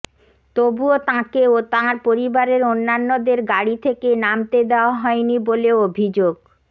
তবুও তাঁকে ও তাঁর পরিবারের অন্যান্যদের গাড়ি থেকে নামতে দেওয়া হয়নি বলে অভিযোগ